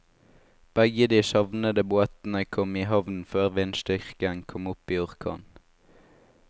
Begge de savnede båtene kom i havn før vindstyrken kom opp i orkan.